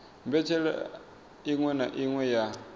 mbetshelwa iṅwe na iṅwe ya